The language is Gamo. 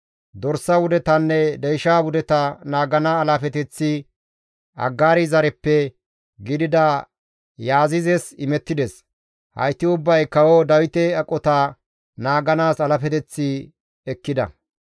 Dorsa wudetanne deysha wudeta naagana alaafeteththi Aggaari zareppe gidida Yaazizes imettides; hayti ubbay kawo Dawite aqota naaganaas alaafeteth ekkida.